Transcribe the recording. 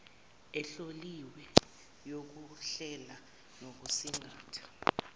ehloliwe yokuhlela nokusingatha